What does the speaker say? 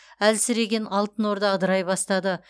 әлсіреген алтын орда ыдырай бастады